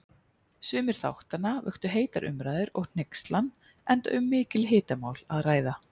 Sumir þáttanna vöktu heitar umræður og hneykslan, enda um mikil hitamál að ræða.